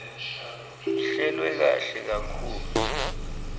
ihlelwe kahle kakhulu